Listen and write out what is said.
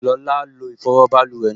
Lọla lo ìfọwọ́ báluwẹ̀ náà